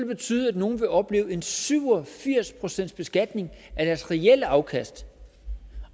betyde at nogle vil opleve en syv og firs procentsbeskatning af deres reelle afkast